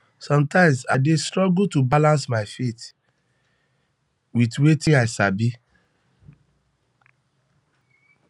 sometimes i dey struggle to balance my faith with faith with wetin i sabi